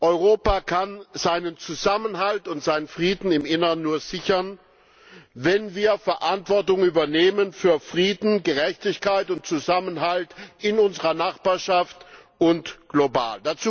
Europa kann seinen Zusammenhalt und seinen Frieden im Inneren nur sichern, wenn wir Verantwortung übernehmen für Frieden, Gerechtigkeit und Zusammenhalt in unserer Nachbarschaft und global.